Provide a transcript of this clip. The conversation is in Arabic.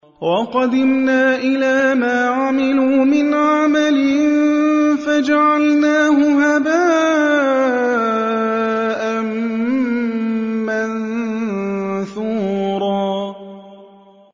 وَقَدِمْنَا إِلَىٰ مَا عَمِلُوا مِنْ عَمَلٍ فَجَعَلْنَاهُ هَبَاءً مَّنثُورًا